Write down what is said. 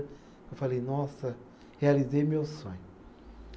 Eu falei, nossa, realizei meu sonho.